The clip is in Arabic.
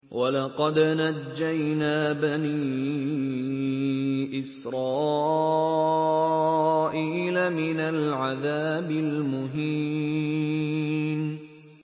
وَلَقَدْ نَجَّيْنَا بَنِي إِسْرَائِيلَ مِنَ الْعَذَابِ الْمُهِينِ